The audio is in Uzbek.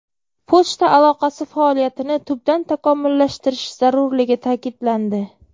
Pochta aloqasi faoliyatini tubdan takomillashtirish zarurligi ta’kidlandi.